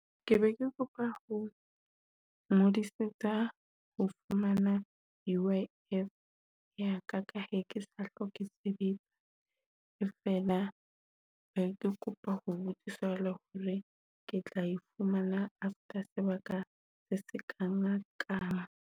Ke be ke kopa ho ngodisetsa ho fumana U_I_F ya ka. Ka he ke sa hloke sebetsa feela, ke kopa ho botsisa hore ke tla fumana after sebaka se ka na nka ka.